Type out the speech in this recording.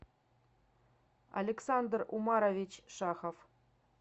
александр умарович шахов